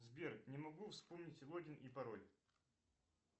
сбер не могу вспомнить логин и пароль